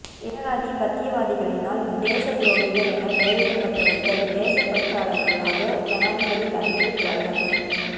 ஏகாதிபத்தியவாதிகளினால் தேசத் துரோகிகள் என பெயரிடப்பட்டவர்கள் தேசப்பற்றாளர்களாக ஜனாதிபதி தலைமையில் பிரகடனம்